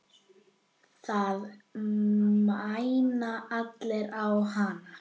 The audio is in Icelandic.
Það mæna allir á hana.